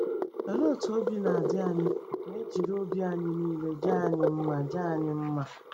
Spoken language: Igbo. Olee otú obi na-adị anyị ma e jiri obi anyị niile jaa anyị mma jaa anyị mma?